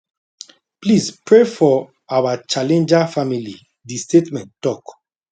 please pray for our challenger family di statement tok